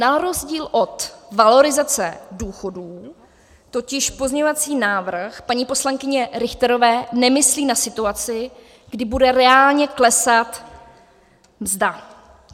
Na rozdíl od valorizace důchodů totiž pozměňovací návrh paní poslankyně Richterové nemyslí na situaci, kdy bude reálně klesat mzda.